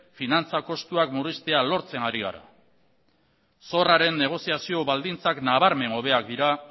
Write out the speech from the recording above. finantza kostuak murriztea lortzen ari gara zorraren negoziazio baldintzak nabarmen hobeak dira